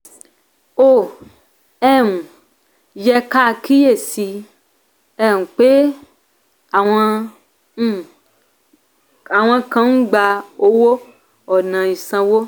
ó um yẹ ká kíyè sí i um pé àwọn um kan ń gbà owó ò̀nà ìsanwó.